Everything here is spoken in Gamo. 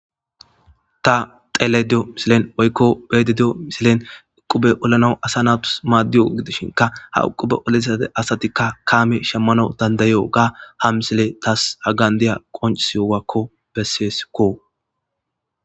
ta telediyo misilen woykko beedidiyo misilen uqube olana asa natus maaddiyo gidishinka ha uqube olasate asatikka kaame shammano dandayo ga ha misile taas hagandiya qonsiwakko besseesikko